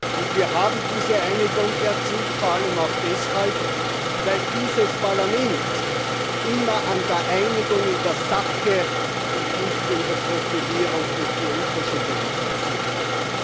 Und wir haben diese Einigung vor allem auch deshalb erzielt, weil dieses Parlament immer an der Einigung in der Sache und nicht an der Profilierung durch die Unterschiede interessiert war.